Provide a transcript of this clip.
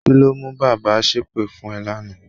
Kí ló mú bàbá ṣépè fún ẹ lánàá?